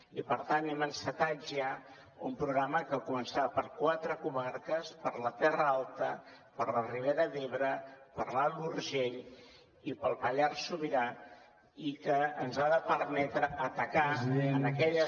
i per tant hem encetat ja un programa que començarà per quatre comarques per la terra alta per la ribera d’ebre per l’alt urgell i pel pallars sobirà i que ens ha de permetre atacar en aquelles